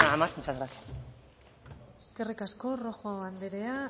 más muchas gracias eskerrik asko rojo andrea